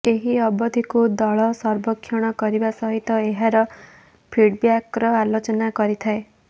ଏହି ଅବଧିକୁ ଦଳ ସର୍ବେକ୍ଷଣ କରିବା ସହିତ ଏହାର ଫିଡ଼ବ୍ୟାକର ଆଲୋଚନା କରିଥାଏ